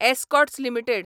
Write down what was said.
Escorts limited